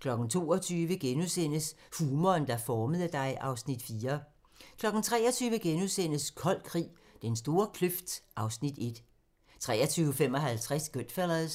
22:00: Humoren, der formede dig (Afs. 4)* 23:00: Kold krig - Den store kløft (Afs. 1)* 23:55: Goodfellas